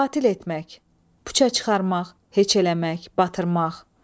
Batil etmək, puça çıxarmaq, heç eləmək, batırmaq.